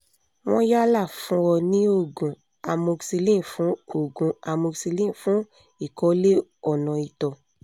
wọ́n yálà fún ọ ní òògùn amoxicillin fún òògùn amoxicillin fún ìkọ̀lé ọ̀nà ìtọ̀